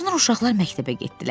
Sonra uşaqlar məktəbə getdilər.